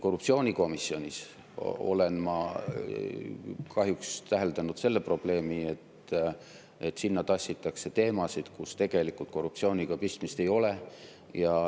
Korruptsioonikomisjonis olen ma kahjuks täheldanud seda probleemi, et sinna tassitakse teemasid, mille puhul tegelikult korruptsiooniga midagi pistmist ei ole.